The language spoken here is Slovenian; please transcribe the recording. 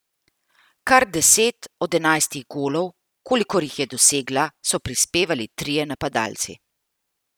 Kar deset od enajstih golov, kolikor jih je dosegla, so prispevali trije napadalci.